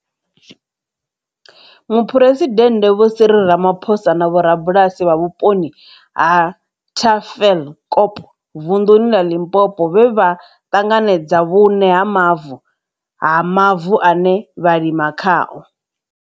Muphuresidennde vho Cyril Ramaphosa na vhorabulasi vha vhuponi ha Tafelkop, vunḓuni ḽa Limpopo, vhe vha ṱanganedza vhuṋe ha mavu ha mavu ane vha lima khao.